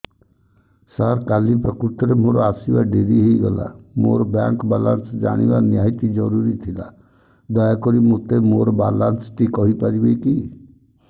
ସାର କାଲି ପ୍ରକୃତରେ ମୋର ଆସିବା ଡେରି ହେଇଗଲା ମୋର ବ୍ୟାଙ୍କ ବାଲାନ୍ସ ଜାଣିବା ନିହାତି ଜରୁରୀ ଥିଲା ଦୟାକରି ମୋତେ ମୋର ବାଲାନ୍ସ ଟି କହିପାରିବେକି